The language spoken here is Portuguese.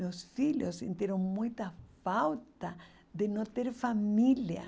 Meus filhos sentiram muita falta de não ter família.